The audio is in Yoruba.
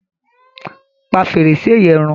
Pà fẹ́rẹ̀ṣẹ̀ yẹ̀n rún!